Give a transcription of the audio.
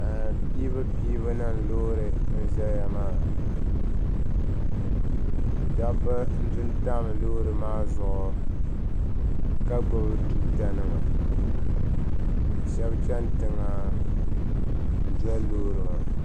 Piibupiibu nima loori n zaya maa dabba n du ntam loori maa zuɣu ka gbubi tuuta nima ka shɛba chɛni tiŋa n doli loori maa.